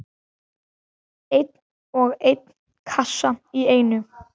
Einn og einn kassa í einu.